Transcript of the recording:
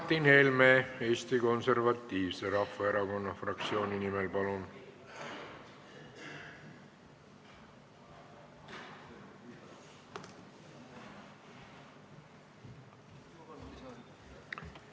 Martin Helme Eesti Konservatiivse Rahvaerakonna fraktsiooni nimel, palun!